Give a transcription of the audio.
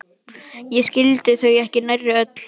Ég skildi þau ekki nærri öll.